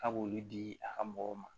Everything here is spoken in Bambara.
K'a b'olu di a ka mɔgɔw ma